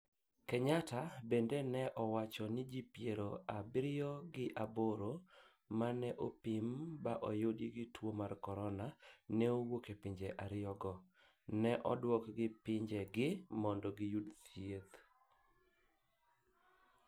Kenyatta bende ne owacho ji piero abirio ga aboro maneopim ba oyud gi tuo mar corona ne owuok pinje ariyo go, ne oduok gi pinje gi mondo giyud thieth.